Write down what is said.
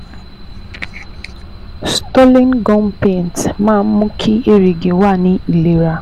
Stolin gum paint máa ń mú kí èrìgì wà ní ìlera